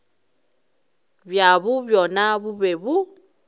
bjabo bjona bo be bo